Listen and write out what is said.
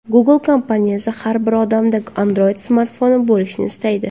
Google kompaniyasi har bir odamda Android smartfoni bo‘lishini istaydi.